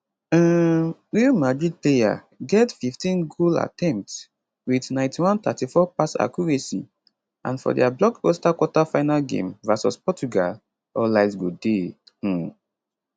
um real madrid player get 15 goal attempts wit 9134 pass accuracy and for dia blockbuster quarterfinal game vs portugal all eyes go dey um